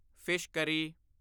fish curry